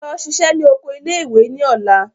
Lọ ṣiṣẹ́ ní oko ilé ìwé ní ọ̀la!